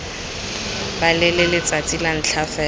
balele letsatsi la ntlha fela